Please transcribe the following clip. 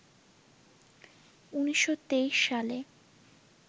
১৯২৩ সালে